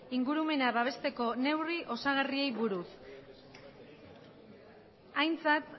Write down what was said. ingurumena babesteko neurri osagarriei buruz aintzat